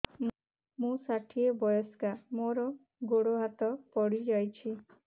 ମୁଁ ଷାଠିଏ ବୟସ୍କା ମୋର ଗୋଡ ହାତ ପଡିଯାଇଛି